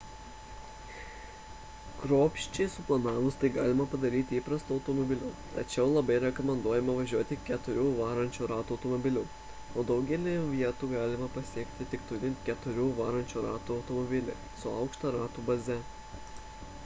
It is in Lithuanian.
kruopščiai suplanavus tai galima padaryti įprastu automobiliu tačiau labai rekomenduojama važiuoti keturių varančiųjų ratų automobiliu o daugelį vietų galima pasiekti tik turint keturių varančiųjų ratų automobilį su aukšta ratų baze